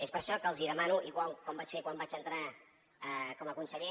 és per això que els demano igual com vaig fer quan vaig entrar com a conseller